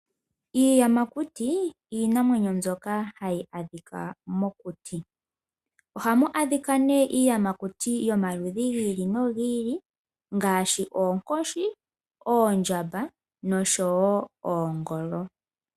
Iiyamakuti iinamwenyo mbyoka hayi adhika mokuti. Ohamu adhika nee iiyamakuti yomaludhi gi ili no gi ili ngaashi: oonkoshi, oondjamba nosho wo oongolo.